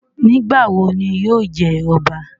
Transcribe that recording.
Nigbawo ni yóò jẹ ọba?